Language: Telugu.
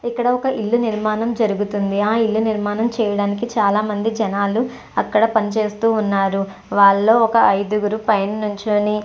ఇక్కడ ఒక ఇల్లు నిర్మాణం జరుగుతుంది. ఆ ఇల్లు నిర్మాణం లో చాలామంది జనాలు అక్కడ పని చేస్తూ ఉన్నారు. వాళ్ళో ఒక అయిదుగురు పైన నించుని --